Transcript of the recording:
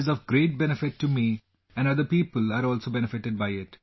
It is of great benefit to me and other people are also benefited by it